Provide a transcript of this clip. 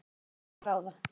Það eru þeir sem ráða.